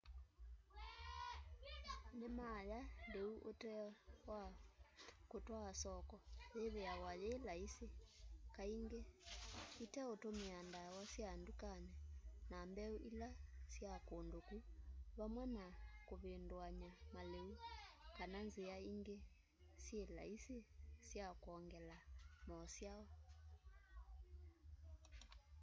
nima ya liu ute wa kutwaa soko yithiawa yi laisi kaingi iteutumia ndawa sya ndukani na mbeu ila sya kundu ku vamwe na kuvinduany'a maliu kana nzia ingi syi laisi sya kwongela mosyao